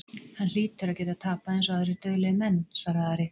Hann hlýtur að geta tapað eins og aðrir dauðlegir menn, svaraði Ari.